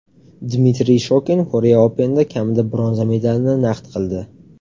Dmitriy Shokin Korea Open’da kamida bronza medalini naqd qildi.